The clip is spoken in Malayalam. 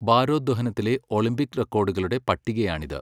ഭാരോദ്വഹനത്തിലെ ഒളിമ്പിക് റെക്കോർഡുകളുടെ പട്ടികയാണിത്.